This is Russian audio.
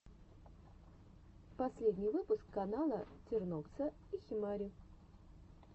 последний выпуск канала тернокса и химари